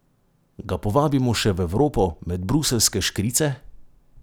Ga povabimo še v Evropo, med bruseljske škrice?